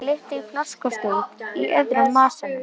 Það glitti í flöskustút í öðrum vasanum.